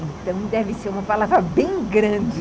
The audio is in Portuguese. Então, deve ser uma palavra bem grande.